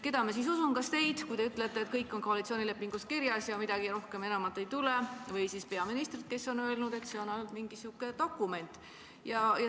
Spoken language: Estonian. Keda ma siis usun: kas teid, kui te ütlete, et kõik on koalitsioonilepingus kirjas ja midagi rohkemat enam ei tule, või siis peaministrit, kes on öelnud, et see on ainult mingi sihuke dokument?